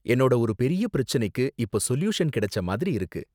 என்னோட ஒரு பெரிய பிரச்சனைக்கு இப்போ சொல்யூஷன் கிடைச்ச மாதிரி இருக்கு.